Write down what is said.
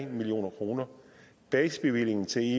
million kroner basisbevillingen til